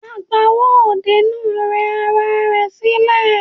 Agbowó òde náà rẹ ara rẹ̀ sílẹ̀.